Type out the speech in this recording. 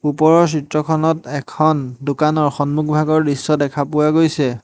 ওপৰৰ চিত্ৰখনত এখন দোকানৰ সন্মুখভাগৰ দৃশ্য দেখা পোৱা গৈছে।